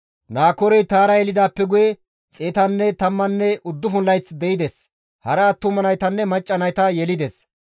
Naakoorey Taara yelidaappe guye 119 layth de7ides; hara attuma naytanne macca nayta yelides.